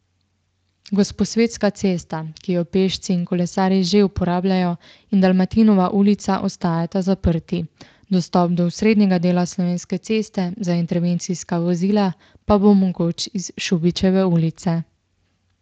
Gosposvetska cesta, ki jo pešci in kolesarji že uporabljajo, in Dalmatinova ulica ostajata zaprti, dostop do osrednjega dela Slovenske ceste za intervencijska vozila pa bo mogoč iz Šubičeve ulice.